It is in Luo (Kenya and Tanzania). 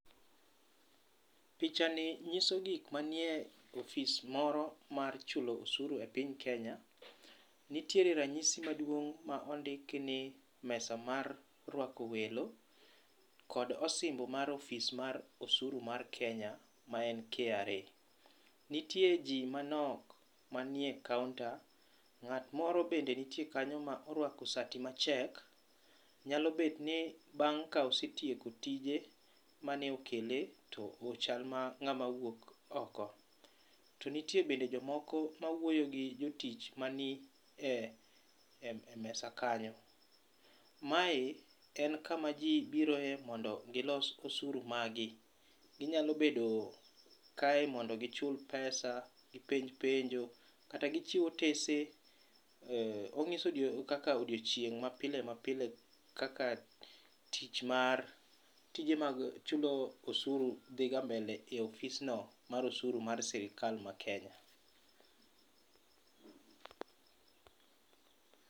Pichani nyiso gik manie ofis moro mar chulo osuru ei piny Kenya. Nitiere ranyisi maduong' ma ondiki ni mesa mar rwako welo kod osimbo mar ofis mar osuru mar Kenya ma en KRA. Nitie ji manok mantiere e counter. Ng'at moro bende nitie kanyo ma orwako sati mar check. Nyalo bedo ni ka osetieko tije mane okele to ochal mana ng'ama wuok oko. To nitie bende jomoko ma wuoyo gi jotich manie e mesa kanyo. Mae en kuma ji biroe mondo gilos osuru maggi. Ginyalo bedo kae mondo gichul pesa, gipenj penjo, kata gichiw otese. Onyiso kaka odiochieng' mapilemapile kaka tich mar, tije mag chulo osuru dhiga mbele e ofisno mar osuru mar sirikal ma Kenya.